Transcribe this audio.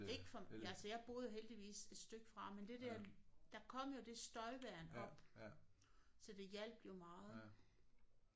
Ikke for altså jeg boede heldigvis et stykke fra men der kom jo det støjværn op så det hjalp jo meget